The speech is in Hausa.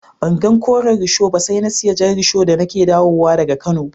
Ban gan Koren risho ba sai na siya Jan risho da ni ke dawo wa da ga kano.